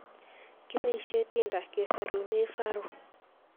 kipoishei Tinder kesorunei Faru